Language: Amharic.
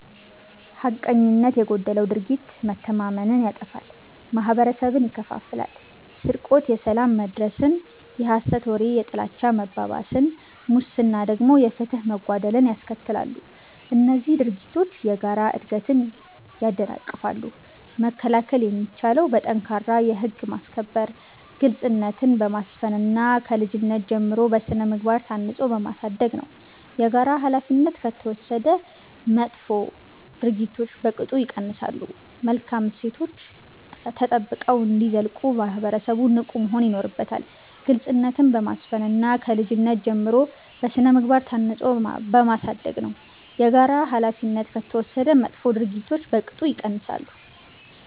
ሐቀኝነት የጎደለው ድርጊት መተማመንን ያጠፋል፤ ማህበረሰብን ይከፋፍላል። ስርቆት የሰላም መደፍረስን፣ የሐሰት ወሬ የጥላቻ መባባስን፣ ሙስና ደግሞ የፍትህ መጓደልን ያስከትላሉ። እነዚህ ድርጊቶች የጋራ እድገትን ያደናቅፋሉ። መከላከል የሚቻለው በጠንካራ የህግ ማስከበር፣ ግልጽነትን በማስፈን እና ከልጅነት ጀምሮ በሥነ-ምግባር ታንጾ በማሳደግ ነው። የጋራ ኃላፊነት ከተወሰደ መጥፎ ድርጊቶች በቅጡ ይቀንሳሉ። መልካም እሴቶች ተጠብቀው እንዲዘልቁ ማህበረሰቡ ንቁ መሆን ይኖርበታል። ግልጽነትን በማስፈን እና ከልጅነት ጀምሮ በሥነ-ምግባር ታንጾ በማሳደግ ነው። የጋራ ኃላፊነት ከተወሰደ መጥፎ ድርጊቶች በቅጡ ይቀንሳሉ።